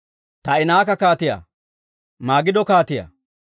Taa'inaaka kaatiyaa, Magido kaatiyaa,